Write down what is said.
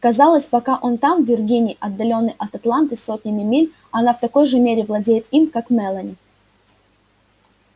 казалось пока он там в виргинии отделённый от атланты сотнями миль она в такой же мере владеет им как мелани